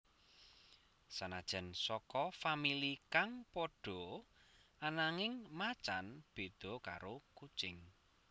Sanajan saka famili kang padha ananging macan béda karo kucing